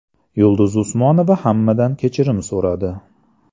Yulduz Usmonova hammadan kechirim so‘radi .